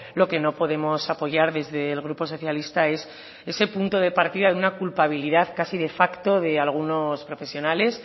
lo que no podemos apoyar desde el grupo socialista es ese punto de partida de una culpabilidad casi de facto de algunos profesionales